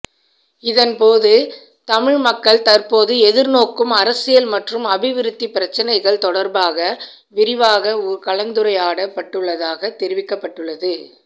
இதன்போது தமிழ் மக்கள் தற்போது எதிர்நோக்கும் அரசியல் மற்றும் அபிவிருத்தி பிரச்சினைகள் தொடர்பாக விரிவாக கலந்துரையாடப்பட்டுள்ளதாக தெரிவிக்கப்பட்டுள்ளது